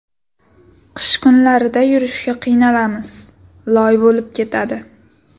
Qish kunlarida yurishga qiynalamiz, loy bo‘lib ketadi.